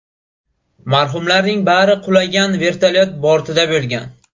Marhumlarning bari qulagan vertolyot bortida bo‘lgan.